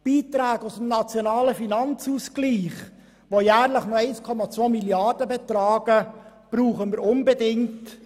Die Beiträge aus dem nationalen Finanzausgleich, die jährlich noch 1,2 Mrd. Franken betragen, brauchen wir unbedingt.